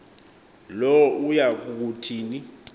lo uya kuthini